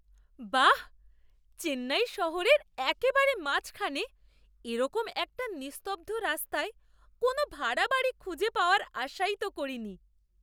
বাহ্! চেন্নাই শহরের একেবারে মাঝখানে এরকম একটা নিস্তব্ধ রাস্তায় কোনও ভাড়া বাড়ি খুঁজে পাওয়ার আশাই তো করিনি!